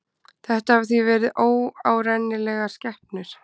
Þetta hafa því verið óárennilegar skepnur.